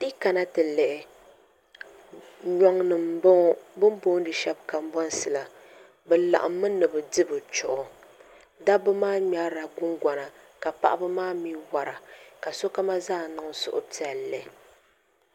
Ti yi kana ti lihi nyoŋ nim n boŋo bi ni booni shab Kanbonsi la bi laɣammi ni bi di bi chuɣu dabba maa ŋmɛrila gungona ka paɣaba maa mii wora ka sokam zaa niŋ suhupiɛlli